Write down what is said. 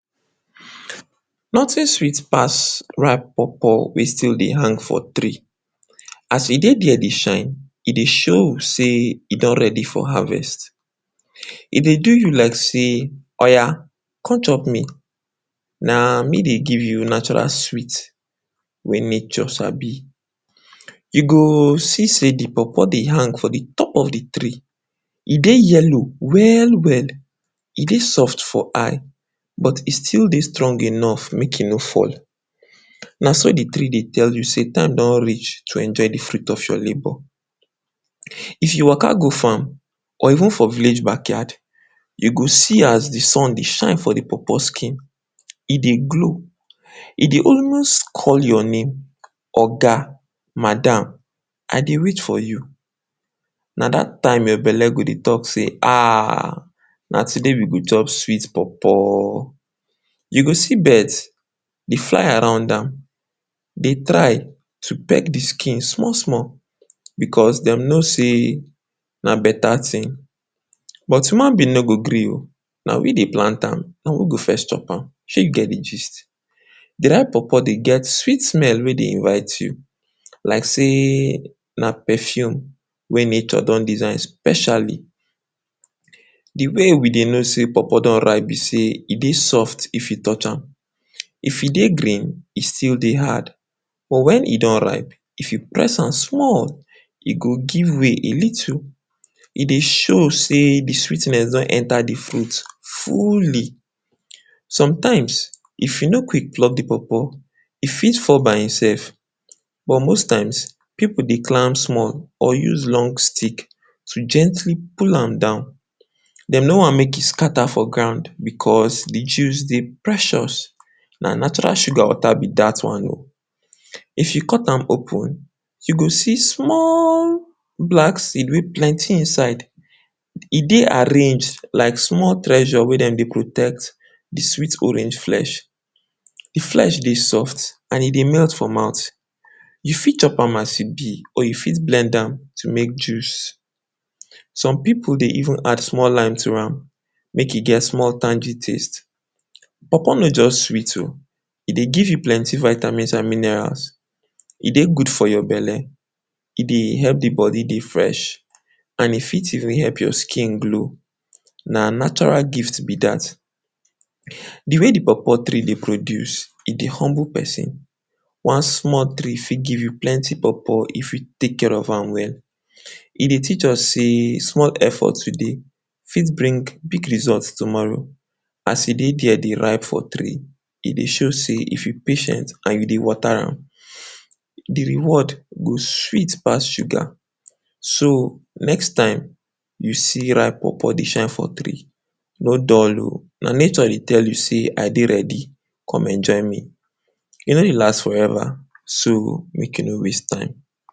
Nothing sweet pass ripe pawpaw wey still dey hang for tree. As e dey there dey shine, e dey show sey e don ready for harvest. E dey do you like sey, oya come chop me. Na me dey give you natural sweet wey nature sabi. You go see sey de pawpaw dey hang for de top of de tree, e dey yellow well-well. E dey soft for eye but e still dey strong enough make e no fall. Na so de tree dey tell you sey time don reach to enjoy de fruit of your labor. If you waka go farm or even for village backyard. You go see as sun dey shine for de pawpaw skin. e dey glow, e dey always call your name, Oga, madam, I dey wait for you. Na dat time your belle go dey talk say, ha, na today we go chop sweet pawpaw. You go see birds dey fly around am, dey try to peck de skin small-small. Because dem know sey na beta thing but human being no go gree oo, na we dey plant am, na we go first chop am, shey you get de gist. De ripe pawpaw dey get sweet smell wey dey invite you like sey na perfume wey nature don design specially. De way we dey know sey pawpaw don ripe be sey, e dey soft e you touch am. If e dey green, e still dey hard, but wen e don ripe if you press am small, e go give way a little. E dey show sey de sweetness do enter de fruit fully. Sometimes if you no quick plug de pawpaw, e fit fall by himself, but most times pipu dey climb small or use long stick to gently pull am down. Dem no want make e scatter for ground because, de juice dey precious, na natural sugar water be dat one o. If you cut am open, you go see small black seed wey plenty inside, e dey arranged like small treasure wey dem dey protect de sweet orange flesh. De flesh dey soft and e dey melt for mouth. You fit chop am as e be or you fit blend am to make juice. Some pipu dey even add small lime to am make e get small tangy taste. Pawpaw no just sweet o, e dey give you plenty vitamins and minerals, e dey good for your belle, e dey help de body dey fresh and e fit even help your skin glow. Na natural gift be dat. De way de pawpaw tree dey produce, e dey humble pesin. One small tree fit give plenty pawpaw if you take care of am well. E dey teach us sey small effort today fit bring big results tomorrow. As e dey there dey ripe for tree, e dey show sey if you patient and you dey water am, de reward go sweet pass sugar. So, next time you see ripe pawpaw dey shine for tree no dull o. Na nature dey tell sey I dey ready, come enjoy me. E no dey last forever, so, make you no waste time.